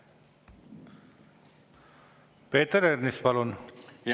Peeter Ernits, palun!